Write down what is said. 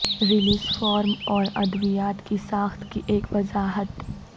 release form اور ادویات کی ساخت کی ایک وضاحت